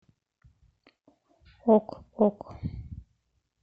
ок ок